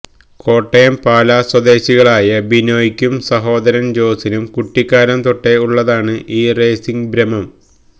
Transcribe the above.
കോട്ടയം പാലാ സ്വദേശികളായ ബിനോയ്ക്കും സഹോദരന് ജോസിനും കുട്ടിക്കാലം തൊട്ടേ ഉള്ളതാണ് ഈ റേസിംഗ് ഭ്രമം